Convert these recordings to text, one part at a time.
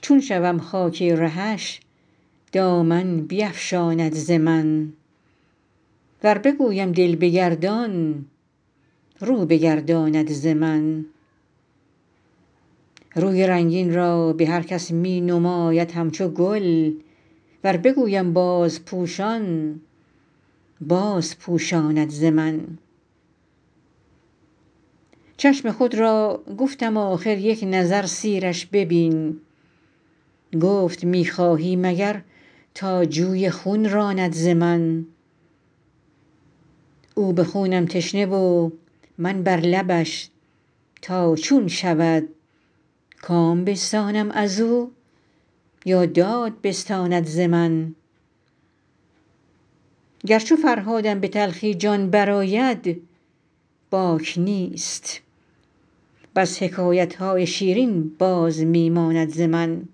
چون شوم خاک رهش دامن بیفشاند ز من ور بگویم دل بگردان رو بگرداند ز من روی رنگین را به هر کس می نماید همچو گل ور بگویم بازپوشان بازپوشاند ز من چشم خود را گفتم آخر یک نظر سیرش ببین گفت می خواهی مگر تا جوی خون راند ز من او به خونم تشنه و من بر لبش تا چون شود کام بستانم از او یا داد بستاند ز من گر چو فرهادم به تلخی جان برآید باک نیست بس حکایت های شیرین باز می ماند ز من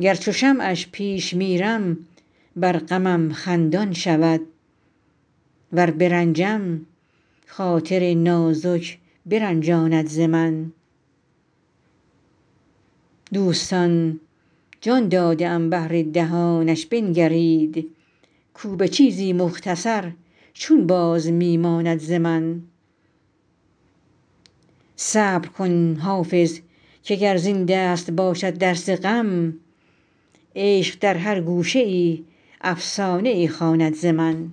گر چو شمعش پیش میرم بر غمم خندان شود ور برنجم خاطر نازک برنجاند ز من دوستان جان داده ام بهر دهانش بنگرید کو به چیزی مختصر چون باز می ماند ز من صبر کن حافظ که گر زین دست باشد درس غم عشق در هر گوشه ای افسانه ای خواند ز من